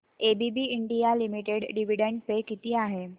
ABB India limited dividend pay किती आहे